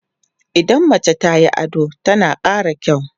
idan mace tayi ado tana ƙara kyau